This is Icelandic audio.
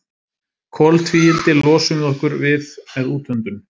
Koltvíildi losum við okkur við með útöndun.